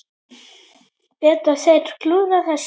Geta þeir klúðrað þessu?